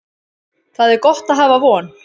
Það er gott að hafa von.